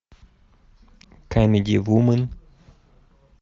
камеди вумен